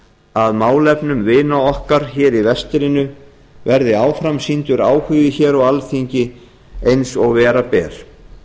að málefnum vina okkar hér í vestrinu verði áfram sýndur áhugi hér á alþingi eins og vera ber